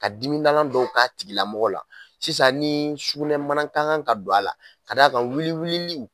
Ka dimi dɔw k'a tigilamɔgɔ la sisan ni sugunɛ mana ka kan ka don a la k'a ka wuli wulili